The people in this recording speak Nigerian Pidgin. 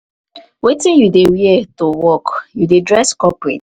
wetin you dey wear to work you dey dress corporate?